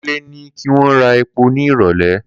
Kunle ni ki won ra epo ni irole.